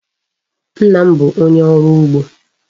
Nna m bu onye oru ugbo